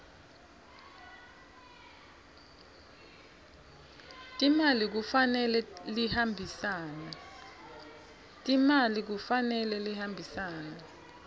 timali kufanele lihambisane